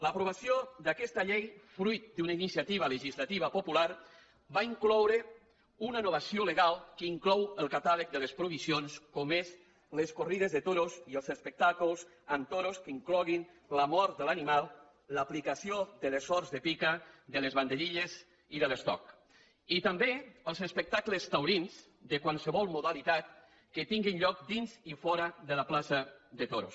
l’aprovació d’aquesta llei fruit d’una iniciativa legislativa popular va incloure una novació legal que inclou el catàleg de les provisions com són les corrides de toros i els espectacles amb toros que incloguin la mort de l’animal l’aplicació de les sorts de pica de les banderilles i de l’estoc i també els espectacles taurins de qualsevol modalitat que tinguin lloc dins i fora de la plaça de toros